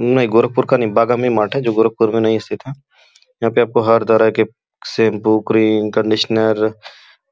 नहीं गोरखपुर का नहीं बगल में मार्ट है जो गोरखपुर मे नहीं स्थित है। यहाँ पे आपको हर तरह के शैम्पू क्रीम कंडीशनर